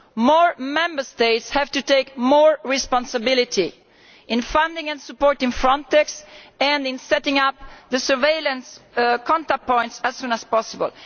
More Member States have to take more responsibility in funding and supporting Frontex and in setting up the surveillance contact points as soon as possible.